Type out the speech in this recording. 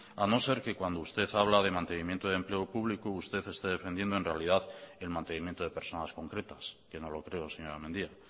a no ser que cuando usted habla de mantenimiento de empleo público usted está defendiendo en realidad el mantenimiento de personas concretas que no lo creo señora mendia